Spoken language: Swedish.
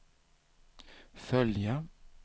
följa